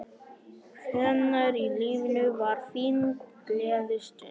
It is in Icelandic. Hvenær í lífinu var þín gleðistund?